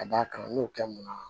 Ka d'a kan n y'o kɛ mun na